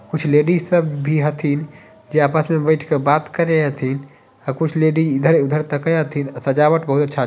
कुछ लेडिज सब भी हथिन जे आपस मे बैठ के बात करे हथिन और कुछ लेडिज इधर -धर तके हथिन सजावट बहुत अच्छा--